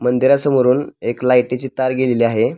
मंदिरा समोरून एक लाईटी ची तार गेलेली आहे.